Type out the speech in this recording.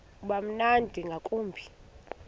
uba mnandi ngakumbi